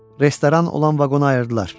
Restoran olan vaqonu ayırdılar.